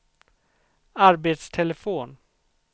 arbetstelefon